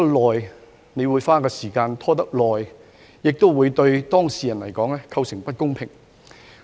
案件拖延審理，對當事人構成不公平。